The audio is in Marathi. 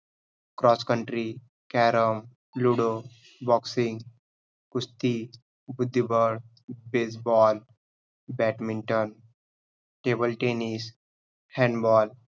cross-country, carrom ludo, boxing, कुस्ती, बुद्धिबळ, baseball, badminton, table tennis, handball